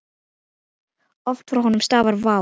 Oft frá honum stafar vá.